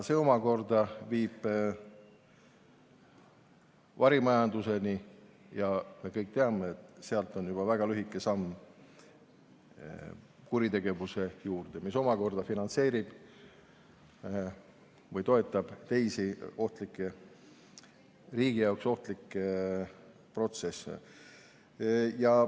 See omakorda viib varimajanduseni ja me kõik teame, et sealt on juba väga lühike samm kuritegevuse juurde, mis omakorda finantseerib või toetab teisi riigi jaoks ohtlikke protsesse.